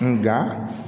Nga